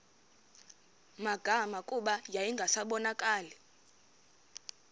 magama kuba yayingasabonakali